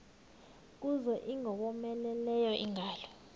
kuza ingowomeleleyo ingalo